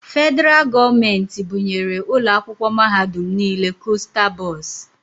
Federaal gọọmenti bunyere ụlọ akwụkwọ mahadum nile kosta bọs.